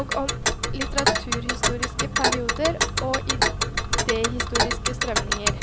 og om litteraturhistoriske perioder og idehistoriske strømninger.